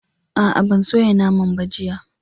A'a, ban soya naman ba, jiya